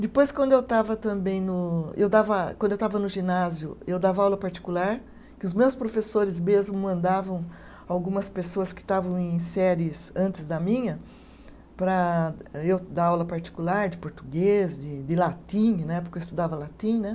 Depois, quando eu estava também no, eu dava, quando eu estava no ginásio, eu dava aula particular, que os meus professores mesmo mandavam algumas pessoas que estavam em séries antes da minha para eu dar aula particular de português, de de latim, na época eu estudava latim né.